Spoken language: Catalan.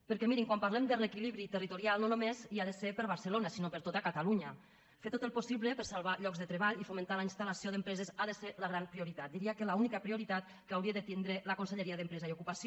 perquè mirin quan parlem de reequilibri territorial no només hi ha de ser per a barcelona sinó per a tot catalunya fer tot el possible per salvar llocs de tre·ball i fomentar la instal·lació d’empreses ha de ser la gran prioritat diria que l’única prioritat que hauria de tindre la conselleria d’empresa i ocupació